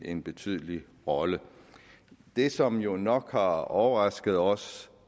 en betydelig rolle det som jo nok har overrasket os